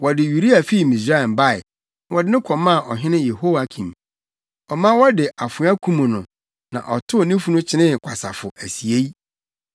Wɔde Uria fii Misraim bae, na wɔde no kɔmaa ɔhene Yehoiakim. Ɔma wɔde afoa kum no na wɔtow ne funu kyenee kwasafo asiei.)